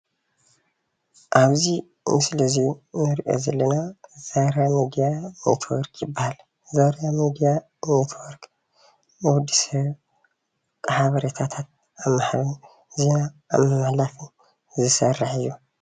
ኣብዚ ምስሊ እዚ ንሪኦ ዘለና ዛራ ሚድያ ኔትዎርክ ይባሃል። ዛራ ሚድያ ኔትዎርክ ን ወድሰብ ሓበሬታት ዜና ኣብ ምሕትሕልላፍ ዝሰርሕ እዩ።